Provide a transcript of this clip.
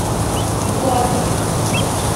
боа виста